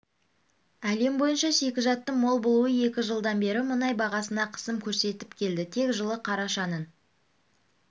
әлем бойынша шикізаттың мол болуы екі жылдан бері мұнай бағасына қысым көрсетіп келді тек жылы қарашаның